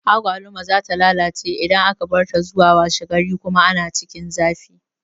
Agwaluma za ta lalace idan aka barta zuwa washe gari kuma a cikin zafi